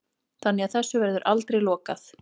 Þannig að þessu verður aldrei lokað